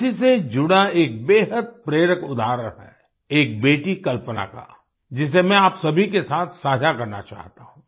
इसी से जुड़ा एक बेहद प्रेरक उदाहरण है एक बेटी कल्पना का जिसे मैं आप सभी के साथ साझा करना चाहता हूँ